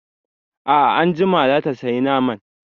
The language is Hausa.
A'a anjima zata saya naman